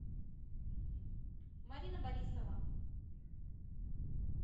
марина борисова